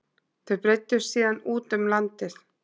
Þau breiddust síðan út um landið